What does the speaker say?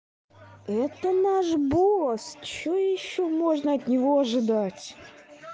это наш босс что ещё можно от него ожидать